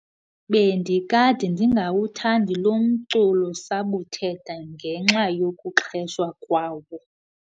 Bendikade ndingawuthandi lo mculo-sabuthetha ngenxa yokuxheshwa kwawo.